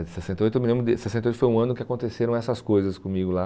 sessenta e oito eu me lembro de foi um ano que aconteceram essas coisas comigo lá.